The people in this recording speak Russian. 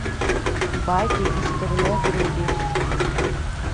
байки из турне вруби